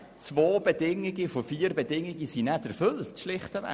Zwei von vier Bedingungen sind nicht erfüllt!